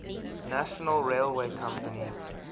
national railway company